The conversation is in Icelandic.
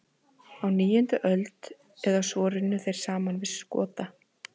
Á níundu öld eða svo runnu þeir saman við Skota.